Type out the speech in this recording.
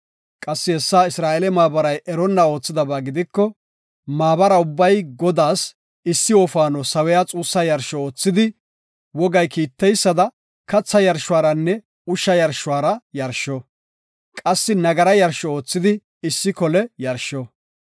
qassi hessa Isra7eele maabaray eronna oothidaba gidiko maabara ubbay Godaas issi wofaano sawiya xuussa yarsho oothidi, wogay kiiteysada katha yarshuwaranne ushsha yarshuwara yarsho; qassi nagara yarsho oothidi issi kole yarsho.